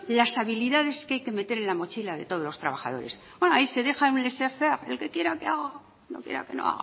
las habilidades que hay que meter en la mochila de todos los trabajadores ahí se deja y el que quiera que haga y el que quiera que no